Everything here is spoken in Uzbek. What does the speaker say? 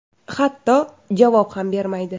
Hatto javob ham bermaydi.